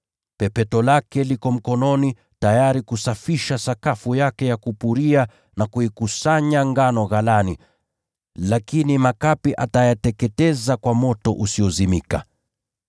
Pepeto lake liko mkononi, tayari kusafisha sakafu yake ya kupuria na kuikusanya ngano ghalani, lakini makapi atayateketeza kwa moto usiozimika.”